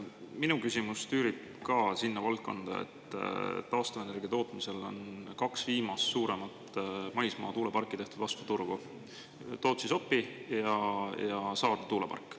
Minu küsimus tüürib ka sinna valdkonda, et taastuvenergia tootmisel on kaks viimast suuremat maismaa tuuleparki tehtud vastu turgu: Sopi-Tootsi ja … tuulepark.